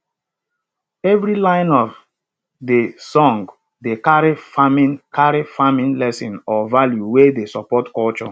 every line of de song dey carry farming carry farming lesson or value wey dey support culture